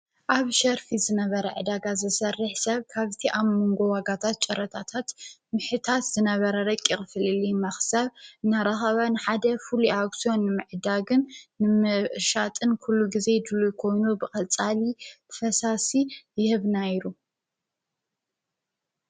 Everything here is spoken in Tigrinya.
;ኣብ ሸርፊ ዝነበረ ዕዳጋ ዘሠርሕ ሰብ ካብቲ ኣብ ምንጎዋጋታት ጨረታታት ምሕታት ዝነበረርቂቕፍልሊ ማኽሰብ እናራሃባን ሓደ ፉሉእኣክስዮን ምዕዳግን ንምሻጥን ኲሉ ጊዜ ድሉኮይኑ ብኸጻሊ ፈሳሲ ይህብናይሩ;